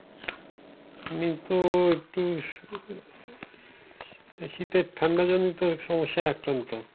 এইতো একটু শীতের ঠান্ডা জনিত সমস্যায় আক্রান্ত।